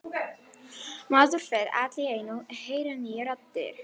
Maður fer allt í einu að heyra nýjar raddir.